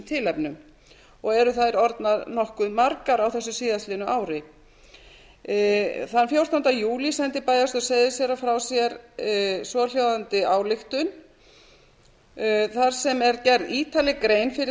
tilefnum og eru þær orðnar nokkuð margar á þessu síðastliðnu ári þann fjórtánda júlí sendi bæjarstjórn seyðisfjarðar frá sér svohljóðandi ályktun þar sem er gerð ítarleg grein fyrir þeim rökum sem